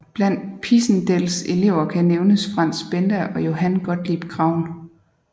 Blandt Pisendels elever kan nævnes Franz Benda og Johann Gottlieb Graun